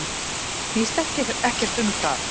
Það snýst ekkert um það.